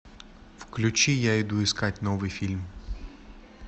включи я иду искать новый фильм